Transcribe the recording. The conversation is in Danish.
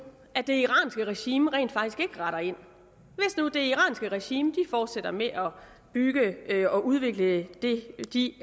det iranske regime rent faktisk ikke retter ind hvis nu det iranske regime fortsætter med at bygge og udvikle de